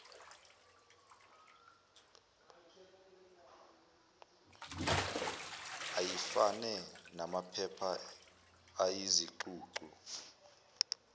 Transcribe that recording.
ayifane namaphepha ayizicucu